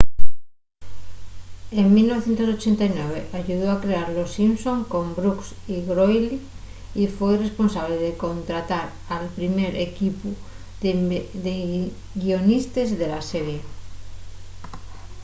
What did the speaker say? en 1989 ayudó a crear los simpsons con brooks y groening y foi responsable de contratar al primer equipu de guionistes de la serie